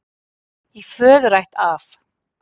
Í föðurætt af